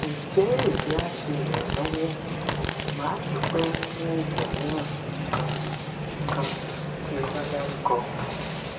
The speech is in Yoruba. nje eyi a se iranlowo madupe fun ogun miran kan kan ti eba daruko